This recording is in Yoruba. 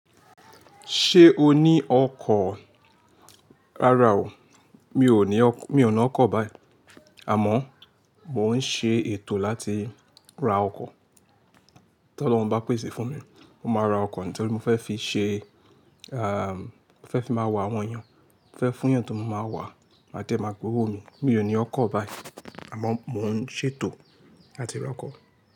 Ṣé o ní ọkọ̀? Rárá o, mi ò ní ọkọ̀ báyìí. Àmọ́ mò ń ṣe ètò láti ra ọkọ̀. Tí Ọlọ́run bá pèsè fún mi, mo máa ra ọkọ̀ nítorí mo fẹ́ fi ṣe, mo fẹ́ fi máa wá àwọn èèyàn, mo fẹ́ fún èèyàn tó ma máa wá máa dẹ́ máa gbowó mi. Mi ò ní ọkọ̀ báyìí àmọ́ mò ń ṣètò láti ra ọkọ̀